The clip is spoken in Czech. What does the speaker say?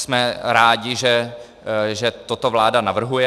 Jsme rádi, že toto vláda navrhuje.